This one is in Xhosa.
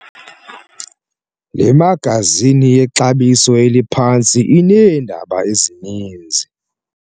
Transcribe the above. Le magazini yexabiso eliphantsi ineendaba ezininzi.